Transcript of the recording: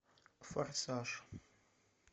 форсаж